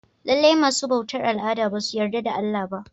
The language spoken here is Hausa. Lallai masu bautar al'ada basu yarda da Allah ba.